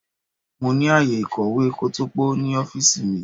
Mo ní ààyè ìkọ̀wé kótópó ní ọ́fíìsì.